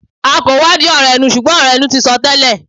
a kò wádìí ọ̀rọ̀ ẹnu, ṣùgbọ́n ọ̀rọ̀ ẹnu ti sọ tẹ́lẹ̀